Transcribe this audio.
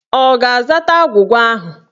Ọ ga-azata agwụgwa ahụ?